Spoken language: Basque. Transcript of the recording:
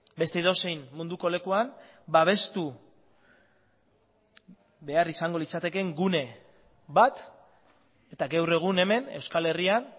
beste edozein munduko lekuan babestu behar izango litzatekeen gune bat eta gaur egun hemen euskal herrian